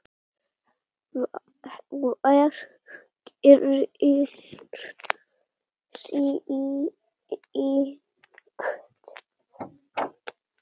Hver gerir slíkt?